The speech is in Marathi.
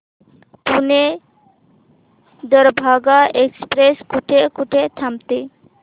पुणे दरभांगा एक्स्प्रेस कुठे कुठे थांबते